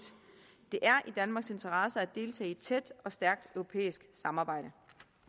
det er i danmarks interesse at deltage i et tæt og stærkt europæisk samarbejde